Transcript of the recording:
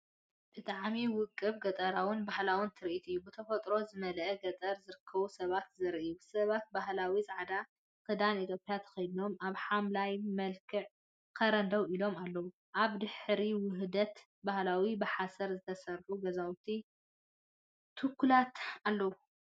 ብጣዕሚ ውቁብ ገጠራውን ባህላውን ትርኢት እዩ! ብተፈጥሮ ዝመልአ ገጠር ዝርከቡ ሰባት ዘርኢ እዩ። ሰባት ባህላዊ ጻዕዳ ክዳን ኢትዮጵያ ተኸዲኖም ኣብ ሓምላይ መልክዕ ከረን ደው ኢሎም ኣለዉ። ኣብ ድሕሪት ውሑዳት ባህላዊ ብሓሰር ዝተሰርሑ ገዛውቲ (ቱኩላት) ኣለዉ።